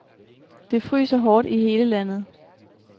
Det fryser hårdt i hele landet.